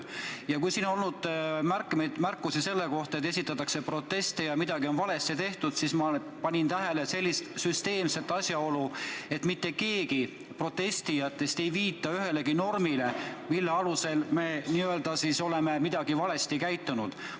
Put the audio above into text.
Kui siin on olnud kuulda märkusi selle kohta, et esitatakse proteste ja midagi on valesti tehtud, siis ma panin tähele niisugust süsteemset asjaolu, et mitte keegi protestijatest ei viita ühelegi normile, mille alusel me oleme kuidagi valesti käitunud.